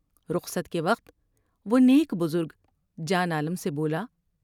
رخصت کے وقت وہ نیک بزرگ جان عالم سے بولا ۔